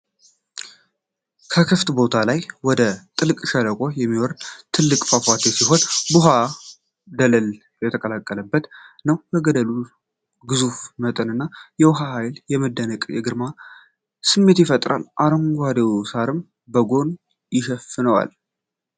ከከፍታ ቦታ ላይ ወደ ጥልቅ ሸለቆ የሚወርድ ትልቅ ፏፏቴ ሲሆን፤ ውሃውም ደለል የተቀላቀለበት ነው። የገደሉ ግዙፍ መጠንና የውሃው ኃይል የመደነቅንና የግርማን ስሜት ይፈጥራል፤ አረንጓዴው ሳርም በጎን ይሸፍነዋል።